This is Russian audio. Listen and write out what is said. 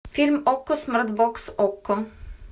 фильм окко смарт бокс окко